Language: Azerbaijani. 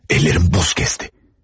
Əllərim buz kəsdi.